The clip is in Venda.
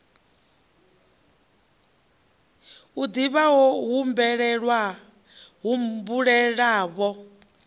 a div ha o humbulelavho